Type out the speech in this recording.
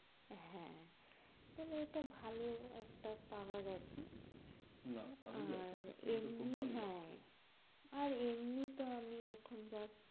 হ্যাঁ, থালে এটা ভালো একটা পাওয়া গেছে না ভালোই লাগছে না, আর এমনি হ্যাঁ আর এমনি তো আমি এখন just